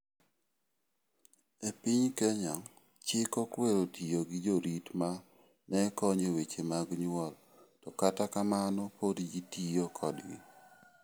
E piny Kenya, chik okwero tiyogi jorit ma ne konyo e weche mag nyuol to kata kamano pod jitiyo kodgi.